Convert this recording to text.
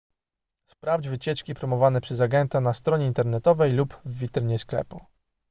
sprawdź wycieczki promowane przez agenta na stronie internetowej lub w witrynie sklepu